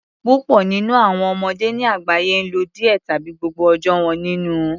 Púpọ nínú àwọn ọmọdé ní àgbáyé n lo díẹ tàbí gbogbo ọjọ́ wọn nínú